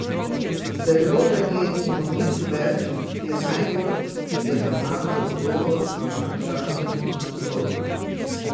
Zelo verjetno nič več, je najbolj jedrnat odgovor na vprašanje iz naslova.